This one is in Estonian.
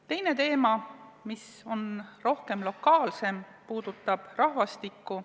Teine teema, mis on lokaalsem, puudutab rahvastikku.